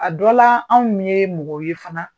A dɔ la anw ye mɔgɔw ye fana